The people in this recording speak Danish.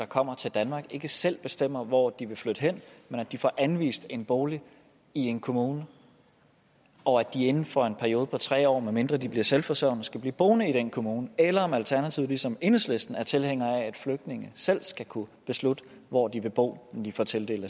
kommer til danmark ikke selv bestemmer hvor de vil flytte hen men at de får anvist en bolig i en kommune og at de inden for en periode på tre år medmindre de bliver selvforsørgende skal blive boende i den kommune eller er alternativet som enhedslisten tilhænger af at flygtninge selv skal kunne beslutte hvor de vil bo når de får tildelt